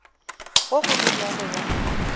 ge go le bjalo ba